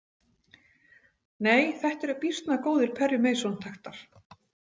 Nei, þetta eru býsna góðir Perry Mason taktar.